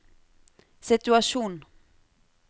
situasjon